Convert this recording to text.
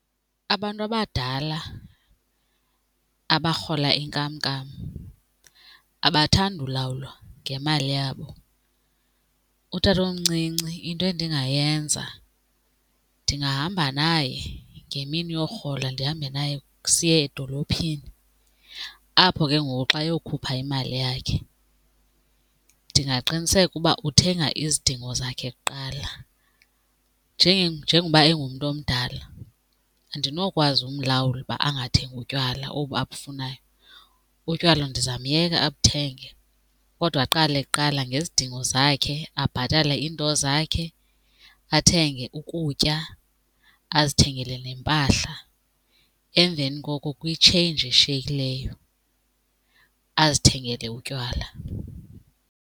Abantu abadala abarhola inkamnkam abathandi ulawulwa ngemali yabo. Utatomncinci into endingayenza ndingahamba naye ngemini yorhola ndihambe naye siye edolophini, apho ke ngoku xa eyokhupha imali yakhe ndingaqiniseka uba uthenga izidingo zakhe kuqala. Njengoba engumntu omdala andinokwazi umlawula uba angathengi utywala obu abafunayo, utywala ndizamyeka abuthenge kodwa aqale kuqala ngezidingo zakhe. Abhatale iinto zakhe, athenge ukutya azithengele nempahla emveni koko kwi-change eshiyekileyo azithengele utywala.